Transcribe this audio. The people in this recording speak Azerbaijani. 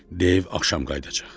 Dev axşam qayıdacaq.